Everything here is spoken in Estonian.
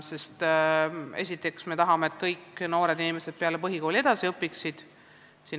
Esiteks, me tahame, et kõik noored inimesed peale põhikooli edasi õpiksid.